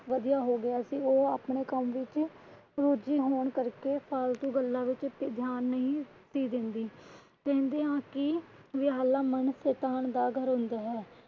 ਵਧਿਆ ਹੋ ਗਿਆ ਸੀ। ਉਹ ਅਪਨੇ ਕੰਮ ਵਿੱਚ ਰੁੱਝੀ ਹੋਣ ਕਰ ਕੇ ਫ਼ਾਲਤੂ ਗੱਲਾਂ ਵਿੱਚ ਧਿਆਨ ਨਹੀਂ ਸੀ ਦਿੰਦੀ। ਕਹਿੰਦੇ ਹਨ ਕਿ ਵੇਹਲਾ ਮਨ ਸ਼ੈਤਾਨ ਦਾ ਘਰ ਹੁੰਦਾ ਹੈ।